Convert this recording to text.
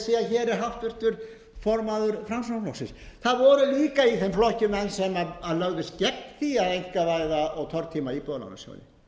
er háttvirtur formaður framsóknarflokksins það voru líka menn í þeim flokki sem lögðust gegn því að einkavæða og tortíma íbúðalánasjóð